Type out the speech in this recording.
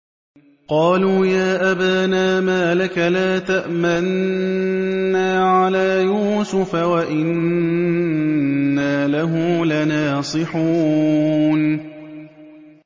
قَالُوا يَا أَبَانَا مَا لَكَ لَا تَأْمَنَّا عَلَىٰ يُوسُفَ وَإِنَّا لَهُ لَنَاصِحُونَ